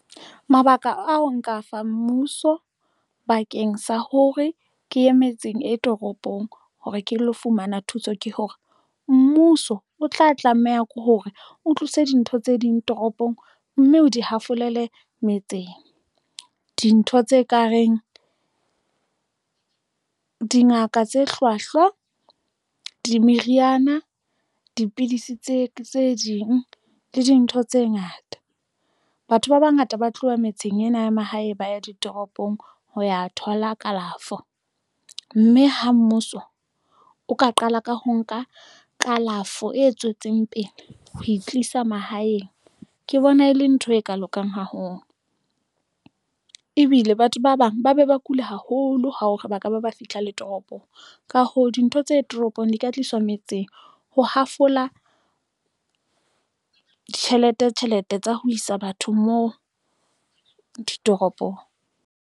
Mabaka ao nka afang mmuso bakeng sa hore ke ye metseng e toropong hore ke lo fumana thuso ke hore mmuso o tla tlameha ke hore o tlise dintho tse ding toropong mme o di hafolele metseng. Dintho tse kareng dingaka tse hlwahlwa meriana, dipidisi tse ding le dintho tse ngata. Batho ba bangata ba tloha metseng ena ya mahae ba ya ditoropong ho ya thola kalafo mme ha mmuso o ka qala ka ho nka kalafo e tswetseng pele ha e tlisa mahaeng. Ke bona e le ntho e ka lokang haholo ebile batho ba bang ba be ba kule haholo ho hore baka ba ba fihla le toropong. Ka hoo, dintho tse toropong di ka tliswa metseng ho hafola tjhelete tjhelete tsa ho isa batho, moo ditoropong.